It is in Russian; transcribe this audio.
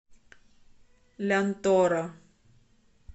лянтора